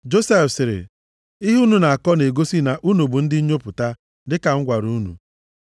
Josef sịrị, “Ihe unu na-akọ na-egosi na unu bụ ndị nnyopụta, dịka m gwara unu.